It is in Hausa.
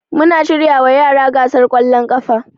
Muna shiryawa yara gasar kwallon kafa